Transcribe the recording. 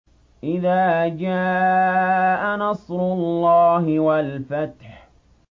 إِذَا جَاءَ نَصْرُ اللَّهِ وَالْفَتْحُ